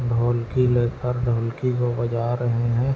ढोलकी लेकर ढोलकी को बजा रहै है।